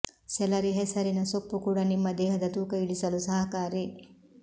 salary ಹೆಸರಿನ ಸೊಪ್ಪು ಕೂಡ ನಿಮ್ಮ ದೇಹದ ತೂಕ ಇಳಿಸಲು ಸಹಕಾರಿ